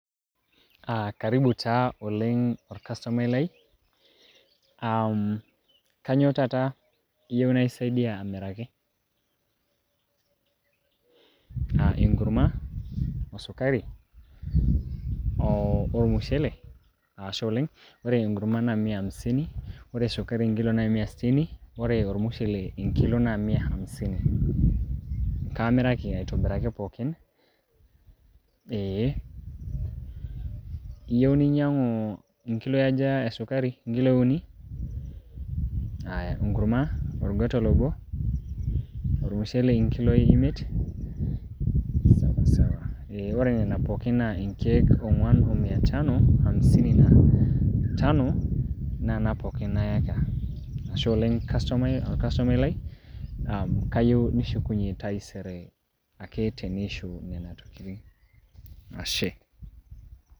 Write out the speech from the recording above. Ah karibu taa oleng' orkasomai lai, kanyioo taata iyieu naisaidia amiraki? Ah enkurma, osukari ormushele, ashe oleng'. Ore enkurma na mia hamsini, ore sukari enkilo na mia sitini, ore ormushele enkilo na mia hamisini. Kaamiraki aitobiraki pookin, ee. Iyeu ninyang'u inkiloi aja esukari? Inkiloi uni? Aya, enkurma orgotol obo? ormushele inkiloi imie? Sawasawa. Ee, ore nena pookin naa inkeek ong'uan o mia tano hamisini na tano, naana pookin nayaka. Ashe oleng' orkasomai lai, kayieu nishukunye taisere ake teniishu nena tokiting'. Ashe.